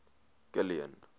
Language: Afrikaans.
kilian